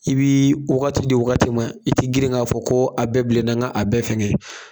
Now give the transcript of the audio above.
I bii wagati de wagati ma i te girin k'a fɔ ko a bɛɛ bilenna nga a bɛɛ fɛngɛ